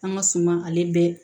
An ka suma ale bɛɛ